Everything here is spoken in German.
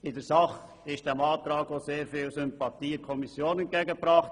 In der Sache wurde diesem Antrag in der Kommission viel Sympathie entgegengebracht.